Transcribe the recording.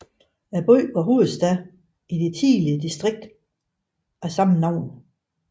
Byen var hovedstad i det tidligere distrikt af samme navn